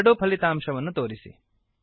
ಎರಡೂ ಫಲಿತಾಂಶಗಳನ್ನು ತೋರಿಸಿ